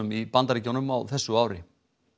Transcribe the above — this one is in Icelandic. í Bandaríkjunum á þessu ári